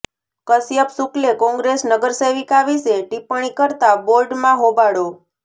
કશ્યપ શુકલે કોંગ્રેસ નગરસેવિકા વિશે ટીપ્પણી કરતા બોર્ડમાં હોબાળો